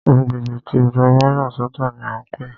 Agbègbè tí Ìjọba yà sọ̀tọ̀ ní a ń pé.